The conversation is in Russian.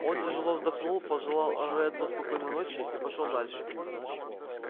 он тяжело вздохнул пожелал реддлу спокойной ночи и пошёл дальше